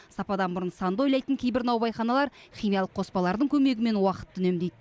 сападан бұрын санды ойлайтын кейбір наубайханалар химиялық қоспалардың көмегімен уақытты үнемдейді